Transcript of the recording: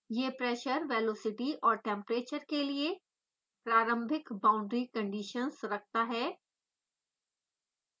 यह pressure velocity और temperature के लिए प्रारंभिक बाउंड्री कंडीशन्स रखता है